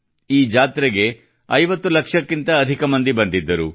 ಈ ಜಾತ್ರೆಗೆ 50 ಲಕ್ಷಕ್ಕಿಂತ ಅಧಿಕ ಮಂದಿ ಬಂದಿದ್ದರು